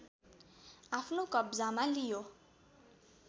आफ्नो कब्जामा लियो